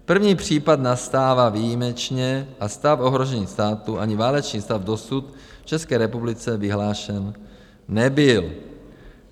První případ nastává výjimečně a stav ohrožení státu ani válečný stav dosud v České republice vyhlášen nebyl.